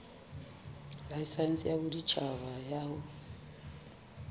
laesense ya boditjhaba ya ho